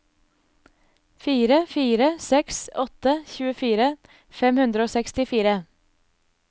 fire fire seks åtte tjuefire fem hundre og sekstifire